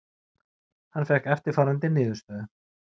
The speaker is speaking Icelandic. Hann fékk eftirfarandi niðurstöðu: